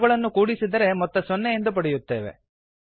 ಅವುಗಳನ್ನು ಕೂಡಿಸಿದರೆ ಮೊತ್ತ ಸೊನ್ನೆ ಎಂದು ಪಡೆಯುತ್ತೇವೆ